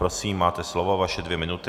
Prosím máte slovo, vaše dvě minuty.